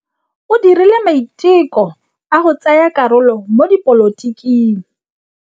O dirile maitekô a go tsaya karolo mo dipolotiking.